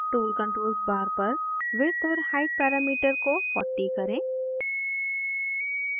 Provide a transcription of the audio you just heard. tool controls bar पर width और height parameter को 40 करें